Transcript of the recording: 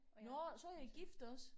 Nåh så er I gift også